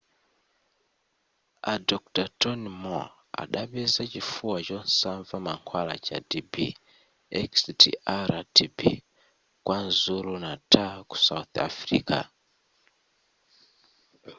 a dr tony moll adapeza chifuwa chosanva mankhwala cha tb xdr -tb kwazulu natal ku south africa